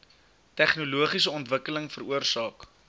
tegnologiese ontwikkeling veroorsaak